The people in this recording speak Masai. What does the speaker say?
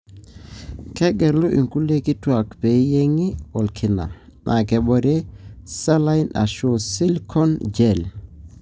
Kegelu inkulie kituak peyiengi olkina, na kebore saline ashu silicone gel.